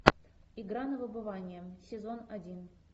игра на выбывание сезон один